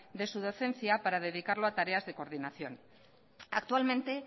de su docencia para dedicarlo a tareas de coordinación actualmente